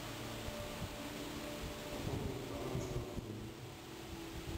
пополнить баланс родственника